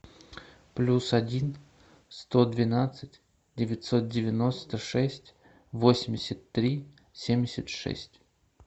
плюс один сто двенадцать девятьсот девяносто шесть восемьдесят три семьдесят шесть